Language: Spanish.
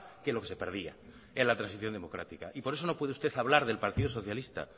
que lo que se perdía en la transición democrática y por eso no puede usted hablar del partido socialista